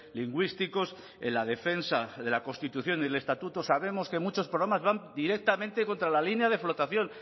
lingüísticos en la defensa de la constitución y el estatuto sabemos que muchos programas van directamente contra la línea de flotación